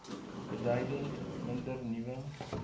beduidend minder nuwe